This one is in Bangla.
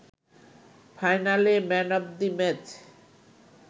ফাইনালে ম্যান অব দি ম্যাচ